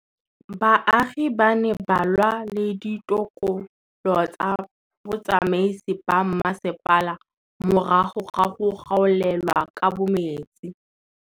Baagi ba ne ba lwa le ditokolo tsa botsamaisi ba mmasepala morago ga go gaolelwa kabo metsi